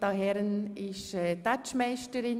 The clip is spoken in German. Grossrätin Herren ist «Tätschmeisterin».